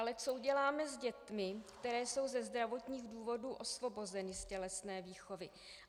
Ale co uděláme s dětmi, které jsou ze zdravotních důvodů osvobozeny z tělesné výchovy?